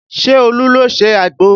Ṣé Olu ló ṣe àgbò?